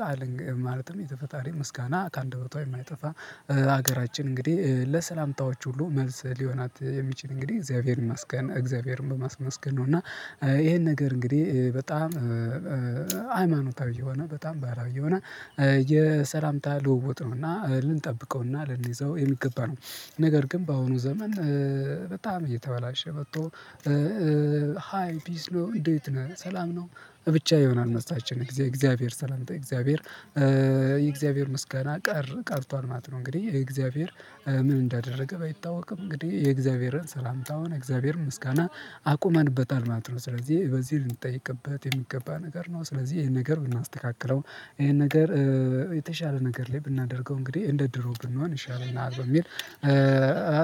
ቃል ማለትም የተፈጣሪ ምስጋና ከአንደበቷ የማይጠፋ ሀገራችን እንግዲህ ለሰላምታዎች ሁሉ መልስ ሊሆናት የሚችል እንግዲህ እግዚአብሔርን ማስገን እግዚአብሔርን በማስመስገን ነው። እና ይሄን ነገር እንግዲህ በጣም ሃይማኖታዊ የሆነ በጣም ባህላዊ የሆነ የሰላምታ ልውውጥ ነው። እና ልንጠብቀውና ልንይዘው የሚገባ ነው። ነገር ግን በአሁኑ ዘመን በጣም እየተበላሸ መጥቶ ሃይ ፒስ ነው እንዴት ነህ ሰላም ነው ብቻ ይሆናል መልሳችን የእግዚአብሔር ሰላምታ እግዚአብሔር የእግዚአብሔር ምስጋና ቀረ ቀርቷል ማለት ነው። እንግዲህ የእግዚአብሔር ምን እንዳደረገ ባይታወቅም እንግዲህ የእግዚአብሔርን ሰላምታውን እግዚአብሔርን ምስጋና አቁመንበታል ማለት ነው። ስለዚህ በዚህ ልንጠየቅበት የሚገባ ነገር ነው። ስለዚህ ይሄን ነገር ብናስተካክለው ይሄን ነገር የተሻለ ነገር ላይ ብናደርገው እንግዲህ እንደ ድሮ ብንሆን ይሻላል በሚል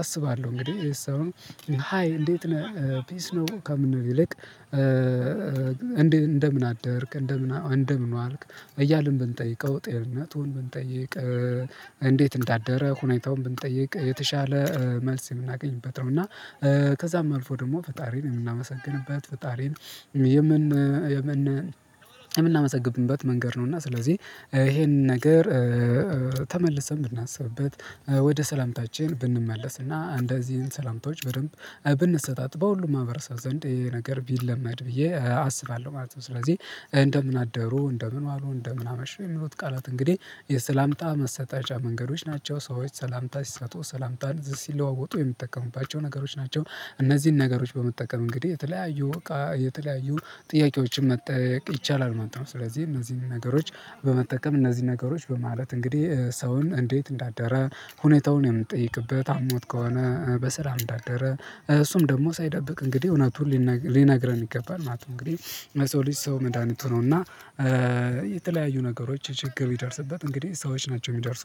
አስባለሁ። እንግዲህ ሰውን ሃይ እንዴት ነህ ፒስ ነው ከምንል ይልቅ እንደምን አደርክ እንደምን እንደምን ዋአልክ እያልን ብንጠይቀው ጤናቱን ብንጠይቅ እንዴት እንዳደረ ሁኔታውን ብንጠይቅ የተሻለ መልስ የምናገኝበት ነው። እና ከዛም አልፎ ደግሞ ፈጣሪን የምናመሰግንበት ፈጣሪን የምን የምናመሰግንበት መንገድ ነው። እና ስለዚህ ይሄንን ነገር ተመልሰን ብናስብበት ወደ ሰላምታችን ብንመለስና እነዚህን ሰላምታዎች በደንብ ብንሰጣጥ በሁሉም ማህበረሰብ ዘንድ ይሄ ነገር ቢለመድ ብዬ አስባለሁ ማለት ነው። ስለዚህ እንደምን አደሩ እንደምን ዋሉ እንደምን አመሹ የሚሉት ቃላት እንግዲህ የሰላምታ መሰጣጫ መንገዶች ናቸው። ሰዎች ሰላምታ ሲሰጡ ሰላምታን ሲለዋወጡ የሚጠቀሙባቸው ነገሮች ናቸው። እነዚህን ነገሮች በመጠቀም እንግዲህ የተለያዩ የተለያዩ ጥያቄዎችን መጠያየቅ ይቻላል ማለት ነው። ስለዚህ እነዚህን ነገሮች በመጠቀም እነዚህን ነገሮች በማለት እንግዲህ ሰውን እንዴት እንዳደረ? ሁኔታውን የምንጠይቅበት አሞት ከሆነ በሰላም እንዳደረ እሱም ደግሞ ሳይደብቅ እንግዲህ እውነቱን ሊነግረን ይገባል ማለት ነው። እንግዲህ ለሰው ልጂ ሰው መድሃኒቱ ነው። እና የተለያዩ ነገሮች ችግር ቢደርስበት እንግዲህ ሰዎች ናቸው እሚደርሱ